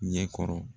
Ɲɛkɔrɔ